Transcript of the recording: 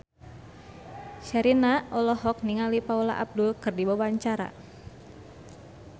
Sherina olohok ningali Paula Abdul keur diwawancara